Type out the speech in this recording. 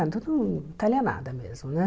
Então, não talha nada mesmo, né?